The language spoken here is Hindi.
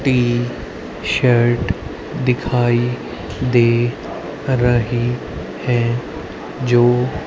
टी शर्ट दिखाई दे रहे हैं जो--